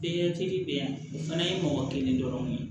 Bɛɛ kelen bɛ yan o fana ye mɔgɔ kelen dɔrɔnw ye